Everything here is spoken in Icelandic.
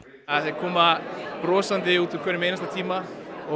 þau koma brosandi úr hverjum einasta tíma það